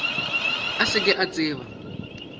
a se ke a tseba